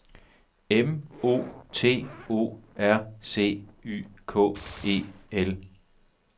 M O T O R C Y K E L